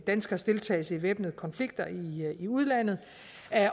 danskeres deltagelse i væbnede konflikter i udlandet